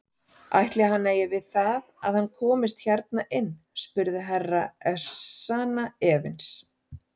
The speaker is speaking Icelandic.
Ætli hann eigi við það að hann komist hérna inn spurði Herra Ezana efins.